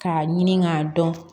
K'a ɲini k'a dɔn